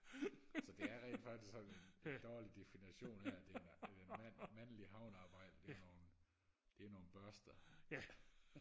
så det er rent faktisk sådan en en dårlig difination af at det er en mand en mandlig havnearbejder det er nogle det er nogle børster